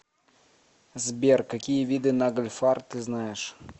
сбер какие виды нагльфар ты знаешь